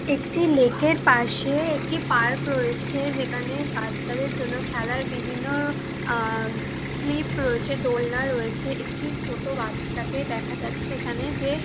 একটি লেক -এর পাশে একটি পার্ক রয়েছে যেখানে বাচ্চাদের জন্য খেলার বিভিন্ন আ স্লিপ রয়েছে দোলনা রয়েছে একটি ছোটো বাচ্চাকে দেখা যাচ্ছে এখানে যে--